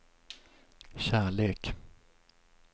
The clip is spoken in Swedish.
kärlek